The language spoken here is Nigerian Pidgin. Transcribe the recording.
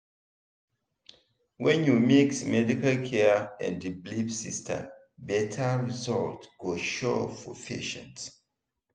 when you mix medical care and belief system better result go show for patient.